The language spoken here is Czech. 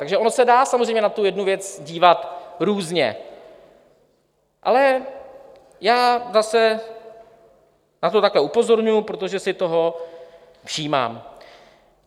Takže ono se dá samozřejmě na tu jednu věc dívat různě, ale já zase na to takhle upozorňuji, protože si toho všímám.